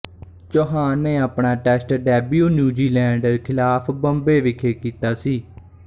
ਚੌਹਾਨ ਨੇ ਆਪਣਾ test debut New Zealand ਖ਼ਿਲਾਫ਼ ਬੰਬੇ ਵਿਖੇ ਕੀਤਾ ਸੀ